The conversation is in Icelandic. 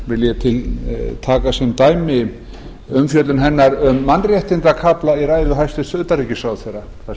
vil ég tiltaka sem dæmi umfjöllun hennar um mannréttindakafla í ræðu hæstvirts utanríkisráðherra þar